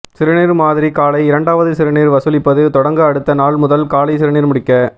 சிறுநீர் மாதிரி காலை இரண்டாவது சிறுநீர் வசூலிப்பது தொடங்க அடுத்த நாள் முதல் காலை சிறுநீர் முடிக்க